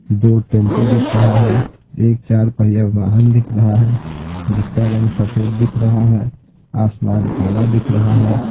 जो दो टैम्पू दिख रहा है एक चार पहिया वाहन दिख रहा है जिसका रंग सफ़ेद दिख रहा है आसमान काला दिख रहा है।